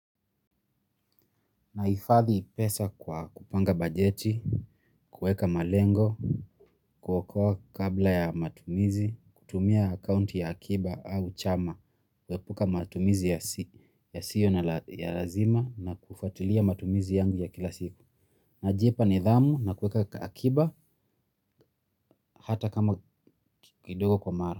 Naifadhi pesa kwa kupanga bajeti, kueka malengo, kuokoa kabla ya matumizi, kutumia akaunti ya akiba au chama, kuepuka matumizi ya siyo na ya lazima na kufatilia matumizi yangu ya kila siku. Najipa nidhamu na kueka akiba hata kama kidogo kwa mara.